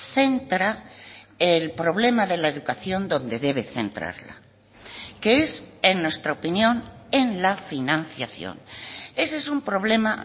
centra el problema de la educación donde debe centrarla que es en nuestra opinión en la financiación ese es un problema